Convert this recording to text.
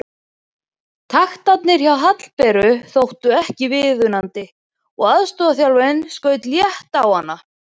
Taktarnir hjá Hallberu þóttu ekki viðunandi og aðstoðarþjálfarinn skaut létt á hana.